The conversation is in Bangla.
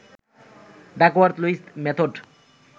Duckworth-Lewis method